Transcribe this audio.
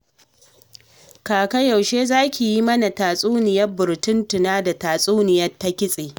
Kaka yaushe za ki yi mana tatsuniyar Burtuntuna da tatsuniyar Ta-kitse.